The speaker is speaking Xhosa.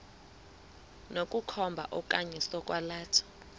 sokukhomba okanye sokwalatha